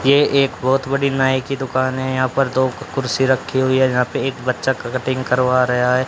ये एक बहुत बड़ी नाई की दुकान है यहां पर दो कुर्सी रखी हुई है यहां पर एक बच्चा कटिंग करवा रहा हैं।